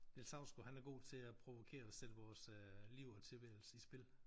Niels Hausgaard han er god til at provokere og sætte vores øh liv og tilværelse i spil